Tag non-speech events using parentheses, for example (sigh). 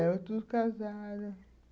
É, (unintelligible) casaram.